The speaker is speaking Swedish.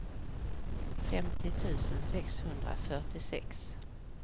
femtio tusen sexhundrafyrtiosex